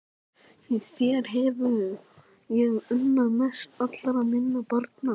Því þér hef ég unnað mest allra minna barna.